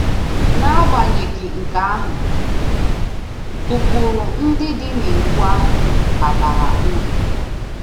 N’agbanyeghị nke ahụ, ụkpụrụ ndị dị n’Iwu ahụ ka bara uru